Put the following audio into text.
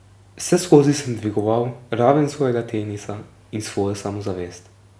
Vseskozi sem dvigoval raven svojega tenisa in svojo samozavest.